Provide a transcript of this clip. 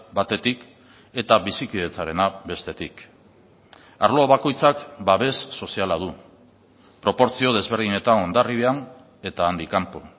batetik eta bizikidetzarena bestetik arlo bakoitzak babes soziala du proportzio desberdinetan hondarribian eta handik kanpo